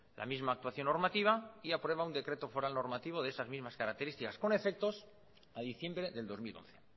la misma actuación normativa y aprueba un decreto foral normativo de esas mismas características con efectos a diciembre del dos mil once